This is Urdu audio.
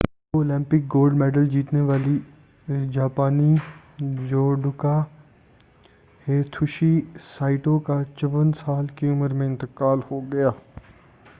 دو اولمپک گولڈ مڈل جیتنے والی جاپانی جوڈوکا ہیتوشی سائٹو کا 54 سال کی عمر میں انتقال ہو گیا